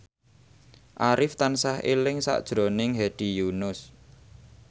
Arif tansah eling sakjroning Hedi Yunus